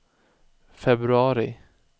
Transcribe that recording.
februari